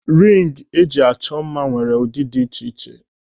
Ringi eji achọ mma nwere ụdị dị iche iche.